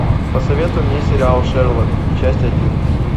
посоветуй мне сериал шерлок часть один